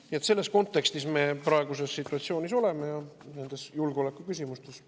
Nii et see on kontekst, milles me praeguses situatsioonis oleme nendes julgeolekuküsimustes.